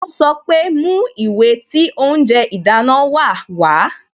Ó sọ pé "Mú ìwé tí oúnjẹ ìdáná wa wá"